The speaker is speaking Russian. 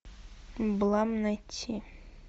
блам найти